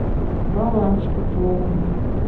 баланс пополни